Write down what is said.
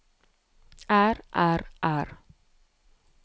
er er er